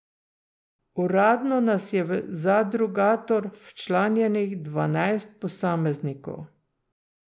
Uradno nas je v Zadrugator včlanjenih dvanajst posameznikov.